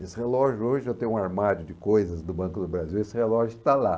Esse relógio, hoje eu tenho um armário de coisas do Banco do Brasil, esse relógio está lá.